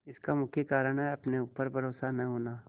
इसका मुख्य कारण है अपने ऊपर भरोसा न होना